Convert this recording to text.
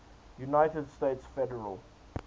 united states federal